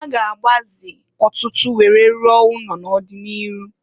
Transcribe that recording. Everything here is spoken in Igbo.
A ga-agbaze ọtụtụ were rụọ ụnọ n'ọdị n'iru.